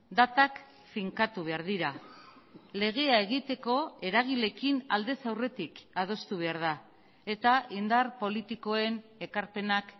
datak finkatu behar dira legea egiteko eragileekin aldez aurretik adostu behar da eta indar politikoen ekarpenak